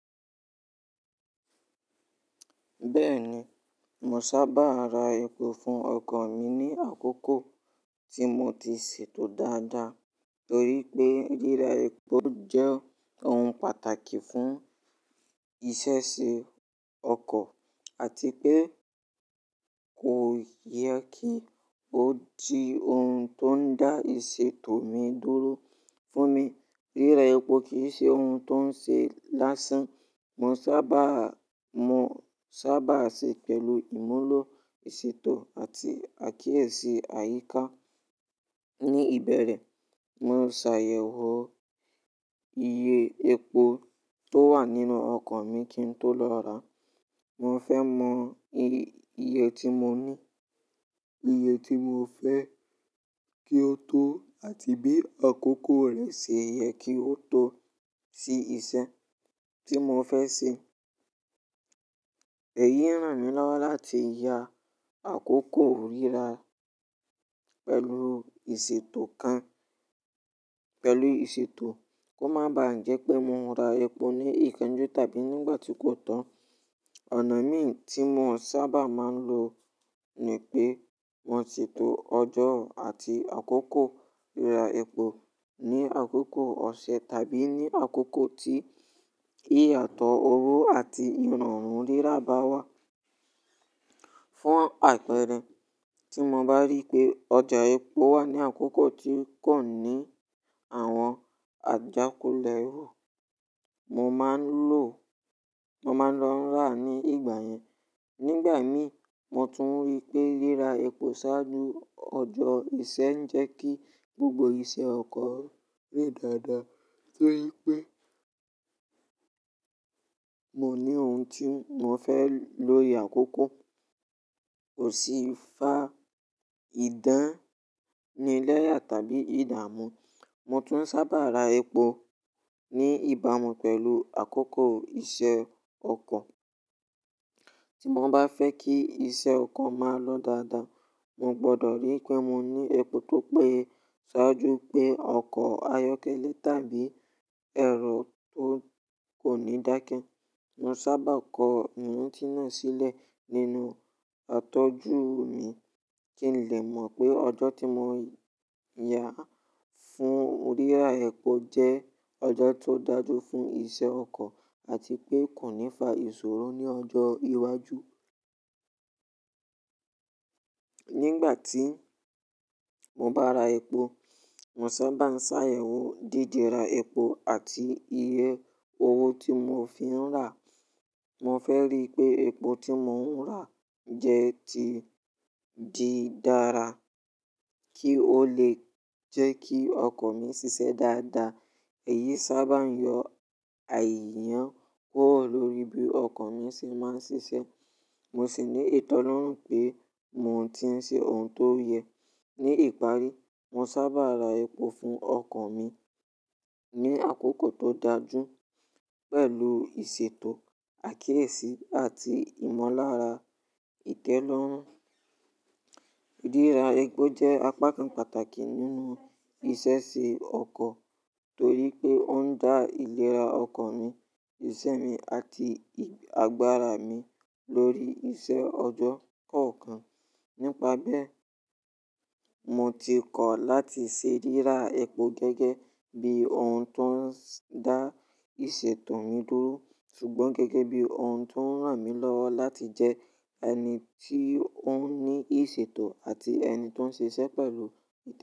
Bẹ́ẹ̀ni, mo sábà ra epo fún ọkọ̀ mi ní àkókò tí mo ti ṣètò dáadáa torí pé ríra epo jẹ́ ohun pàtàkì fún ìṣẹṣe ọkọ̀ àti pé kò yẹ kí ó di ohun tó ń dá ìṣètò mi dúró. Fún mi, ríra epo kì í ṣe ohun tó ń ṣe lásán. Mo sábà, mo sábà ṣe pẹ̀lú ìmúlò ìṣètò àti àkíyèsí àyíká. Ni ìbẹ̀rẹ̀, mo ṣàyẹ̀wò iye epo tó wà nínú ọkọ̀ mi kí n tó lọ rà. Mo fẹ́ mọ iye tí mo ní, iye tí mo fẹ́ kí ó tó àti bí àkókò rẹ̀ ṣe yẹ kí ó tó sí ìṣẹ́ tí mo fẹ́ ṣe. Èyí ràn mí lọ́wọ́ láti ya àkókò ríra pẹ̀lú ìṣètò kan, pẹ̀lú ìṣètò kó má ba jẹ́ pé mo ń ra epo ní ìkanjú tàbí nígbà tí kò tọ́. Ọ̀nà mí tí mo sábà máa ń lò ni pé mo ṣètò ọjọ́ àti àkókò ríra epo ní àkókò ọ̀sẹ̀ tàbí ní àkókò tí ìyàtọ̀ owó àti ìrọ̀rùn ríra bá wà. Fún àpẹẹrẹ, tí mo bá rí pé ọjà epo wà ní àkókò tí kò ní àwọn àjákò lẹ́rọ̀, mo máa ń lò, mo máa ń lọ rà ní ìgbà yẹn. Nígbà mí, mo tún rí pé ríra epo ṣáájú ọjọ́ ìṣẹ́ ń jẹ́ kí gbogbo iṣẹ́ ọkọ̀ rí dáadáa torí pé mo ní ohun tí mo fẹ́ lò ní àkókò ò sí ìfá ìdánilẹ́yà tàbí ìdàmú. Mo tún sábà ra epo ní ìbámu pẹ̀lú àkókò iṣẹ́ ọkọ̀. Tí mo bá fẹ́ kí iṣẹ́ ọkọ̀ máa lọ dáadáa, mo gbọdọ̀ rí pé mo ní epo tó pé ṣáájú pé ọkọ̀ ayọ́kẹ́lẹ́ tàbí ẹ̀rọ tó kò ní dákẹ́. Mo sábà kọ ohun tí náà sílẹ̀ nínú àtọ́jú mi kí n lè mọ̀ pé ọjọ́ tí mo ya fún ríra epo jẹ́ ọjọ́ tó dájú fún iṣẹ́ ọkọ̀ àti pé kò ní fa ìṣòro ní ọjọ́ iwájú. Nígbà tí mo bá ra epo, mo sábà ń ṣàyẹ̀wò dìde ra epo àti iye owó tí mo fi ń rà. Mo fẹ́ rí pé epo tí mo ń rà jẹ́ ti di dára kí ó lè jẹ́ kí ọkọ̀ mi ṣiṣẹ́ dáadáa. Èyí sábà ń yọ àìyàn kúrò lórí bí ọkọ̀ mi ṣe máa ń ṣiṣẹ́. Mo sì ní ìtẹ́lọ́rùn pé mo ti ń ṣe ohun tó yẹ. Ní ìparí, mo sábà ra epo fún ọkọ̀ mi ní àkókò tó dáa jù pẹ̀lú ìṣètò, àkíyèsí àti ìmọ̀lára ìtẹ́lọ́rùn. Ríra epo jẹ́ apá kan pàtàkì nínú ìṣeṣe ọkọ̀ torí pé ó ń dá ìlera ọkọ̀ mi, ìṣẹ́ mi àti àgbàrà mi lórí iṣẹ́ ọjọ́ kọ̀ọ̀kan. Nípa bẹ́ẹ̀, mo ti kọ̀ láti ṣe ríra epo gẹ́gẹ́ bí ohun tó ń dá ìṣètò mi dúró ṣùgbọ́n gẹ́gẹ́ bí ohun tó ń ràn mí lọ́wọ́ láti jẹ́ ẹni tí ó ní ìṣètò àti ẹni tó ń ṣe iṣẹ́ pẹ̀lú ìtẹ́lọ́rùn.